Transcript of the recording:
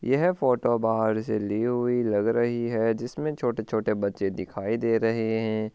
यह फोटो बाहर से ली हुई लग रही है जिस मे छोटे छोटे बच्चे दिखाई दे रहे है।